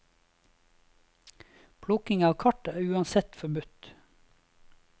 Plukking av kart er uansett forbudt.